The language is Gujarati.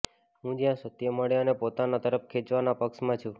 હું જ્યાં સત્ય મળે એને પોતાના તરફ ખેંચવાના પક્ષમાં છું